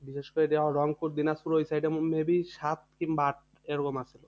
বিশেষ করে রংপুর দিনাজপুর ওই side এ maybe সাত কিংবা আট এরকম আছে।